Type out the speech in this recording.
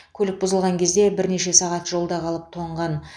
көлік бұзылған кезде бірнеше сағат жолда қалып тоңған